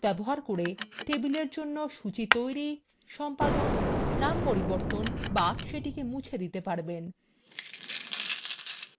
in ভাবে আপনি base ব্যবহার করে টেবিলin জন্য সূচী তৈরি সম্পাদন নামান্তর করতে বা মুছে দিতে পারেন